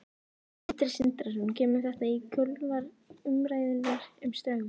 Sindri Sindrason: Kemur þetta í kjölfar umræðunnar um Straum?